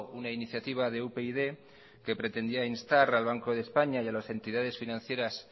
una iniciativa de upyd que pretendía instar al banco de españa y a las entidades financieras